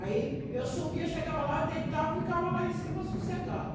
Aí eu subia, chegava lá, deitava, ficava lá em cima sossegado.